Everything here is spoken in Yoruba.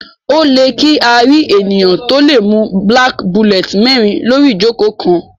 O lẹ kí a rí ènìyàn to lẹ mú black bullet mérin lori ijoko kán